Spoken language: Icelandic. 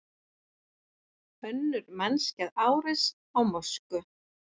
Önnur mannskæð árás á mosku